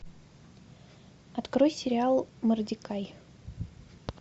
открой сериал мордекай